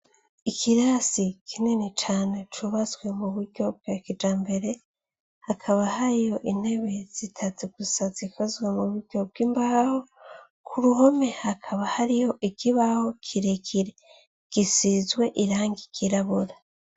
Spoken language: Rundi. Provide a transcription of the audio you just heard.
Ikirasi kinini cane cubatswe muburyo bwakijambere, hakaba hariho intebe zitatu gusa zikozwe muburyo bw'imbaho, k'uruhome hakaba hariho ikibaho kirekire gisizwe irangi ryirabura.